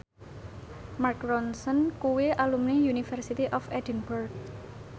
Mark Ronson kuwi alumni University of Edinburgh